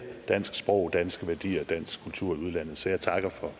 dansk sprog danske værdier og dansk kultur i udlandet så jeg takker